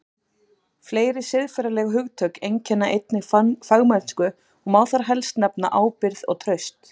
Fleiri siðferðileg hugtök einkenna einnig fagmennsku og má þar helst nefna ábyrgð og traust.